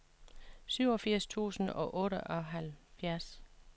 syvogfirs tusind og otteoghalvfjerds